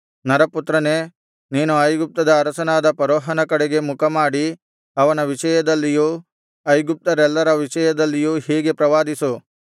ನರಪುತ್ರನೇ ನೀನು ಐಗುಪ್ತದ ಅರಸನಾದ ಫರೋಹನ ಕಡೆಗೆ ಮುಖಮಾಡಿ ಅವನ ವಿಷಯದಲ್ಲಿಯೂ ಐಗುಪ್ತ್ಯರೆಲ್ಲರ ವಿಷಯದಲ್ಲಿಯೂ ಹೀಗೆ ಪ್ರವಾದಿಸು